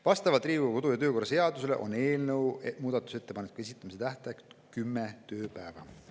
Vastavalt Riigikogu kodu‑ ja töökorra seadusele on eelnõu muudatusettepanekute esitamise tähtaeg 10 tööpäeva.